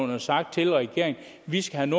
og sagt til regeringen vi skal have